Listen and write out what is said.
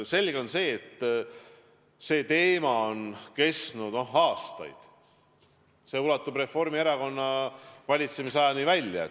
Selge on, et see teema on ülal olnud aastaid, see ulatub Reformierakonna valitsemisajani välja.